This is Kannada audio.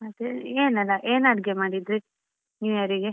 ಮತ್ತೇ ಏನಿಲ್ಲಾ ಏನ್ ಅಡಿಗೆ ಮಾಡಿದ್ರಿ New Year ಗೆ?